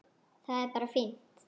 Það er bara fínt.